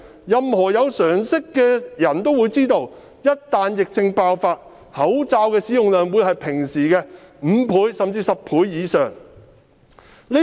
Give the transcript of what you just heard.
任何有常識的人也知道，一旦疫症爆發，口罩的使用量會是平時的5倍甚至10倍以上。